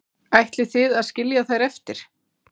Ætlið þið að skilja þær eftir?